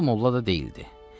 Maral molla da deyildi.